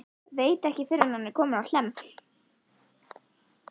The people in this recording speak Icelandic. Veit ekki fyrr en hann er kominn á Hlemm.